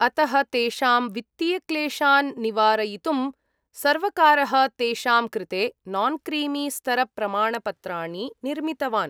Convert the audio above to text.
अतः तेषां वित्तीयक्लेशान् निवारयितुं सर्वकारः तेषां कृते नान्क्रीमीस्तरप्रमाणपत्राणि निर्मितवान्।